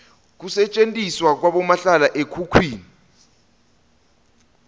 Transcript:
kusetjentiswa kwabomahlala ekhukhwini